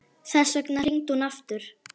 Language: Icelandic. Þess vegna hringdi hún aftur.